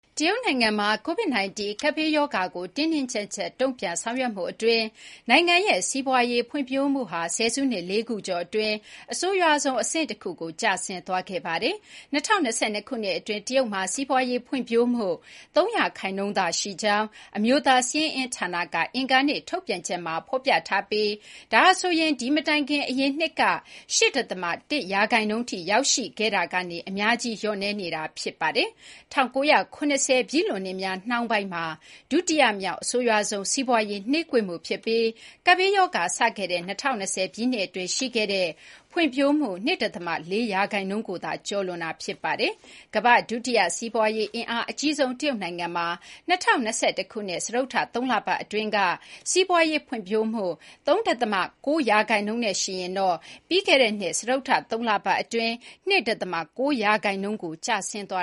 တရုတ်နိုင်ငံမှာ Covid-19 ကပ်ဘေးရောဂါကို တင်းတင်းကြပ်ကြပ် တုံ့ပြန်ဆောင်ရွက်မှုအတွင်း နိုင်ငံရဲ့စီးပွားရေးဖွံ့ဖြိုးမှုဟာ ဆယ်စုနှစ် ၄ ခုကျော်အတွင်း အဆိုးရွားဆုံးအဆင့်တခုကို ကျဆင်းသွားခဲ့ပါတယ်။ ၂၀၂၂ ခုနှစ်အတွင်း တရုတ်မှာ စီးပွားရေးဖွံ့ဖြိုးမှု ၃ ရာခိုင်နှုန်းသာရှိကြောင်း အမျိုးသား စာရင်းအင်းဌာနက အင်္ဂါနေ့ ထုတ်ပြန်ချက်မှာဖော်ပြထားပြီး ဒါဟာဆိုရင် ဒီမတိုင်ခင် အရင်နှစ်က ၈.၁ ရာခိုင်နှုန်းထိရောက်ရှိခဲ့မှုကနေ အများကြီး လျော့နည်းနေတာ ဖြစ်ပါတယ်။ ၁၉၇၀ ပြည့်လွန်နှစ်များ နှောင်းပိုင်းမှာ ဒုတိယမြောက် အဆိုးရွားဆုံး စီးပွားရေးကွေးမှုဖြစ်ပြီး ကပ်ဘေးရောဂါစခဲ့တဲ့ ၂၀၂၀ ပြည့်နှစ်အတွင်း ရှိခဲ့တဲ့ဖွံဖြိုးမှု ၂.၄ ရာခိုင်နှုန်းကိုသာ ကျော်လွန်တာ ဖြစ်ပါတယ်။ ကမ္ဘာ့ဒုတိယ စီးပွားရေးအင်အားအကြီးဆုံး တရုတ်နိုင်ငံမှာ ၂၀၂၁ ခုနှစ် စတုတ္ထ သုံးလပတ်အတွင်းက စီးပွားရေးဖွံ့ဖြိုးမှု ၃.၉ ရာခိုင်နှုန်းနဲ့ယှဉ်ရင်တော့ ပြီးခဲ့တဲ့နှစ် စတုတ္ထ သုံးလပတ်အတွင်း ၂.၉ ရာခိုင်နှုန်းကို ကျဆင်းသွ